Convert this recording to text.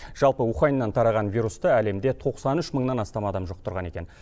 жалпы уханьнан тараған вирусты әлемде тоқсан үш мыңнан астам адам жұқтырған екен